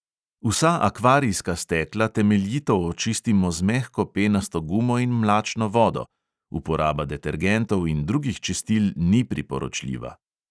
Vsa akvarijska stekla temeljito očistimo z mehko penasto gumo in mlačno vodo; uporaba detergentov in drugih čistil ni priporočljiva.